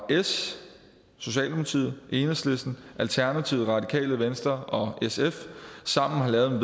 socialdemokratiet enhedslisten alternativet det radikale venstre og sf sammen har lavet